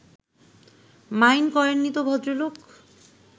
mind করেননি তো ভদ্রলোক